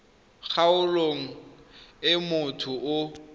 kgaolong e motho yo o